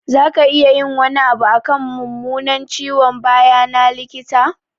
Za ka iya yin wani abu akan mummunan ciwon baya na, likita?